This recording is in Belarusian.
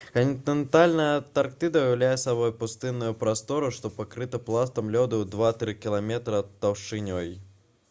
кантынентальная антарктыда ўяўляе сабой пустынную прастору што пакрыта пластом лёду ў 2-3 км таўшчынёй